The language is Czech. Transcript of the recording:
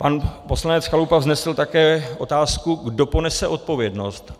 Pan poslanec Chalupa vznesl také otázku, kdo ponese odpovědnost.